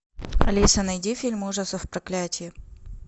алиса найди фильм ужасов проклятие